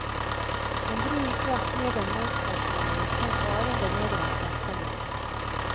En brun frakk med en mannsperson i kom farende nedover trappene.